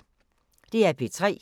DR P3